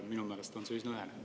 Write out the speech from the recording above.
Minu meelest on see üsna ühene.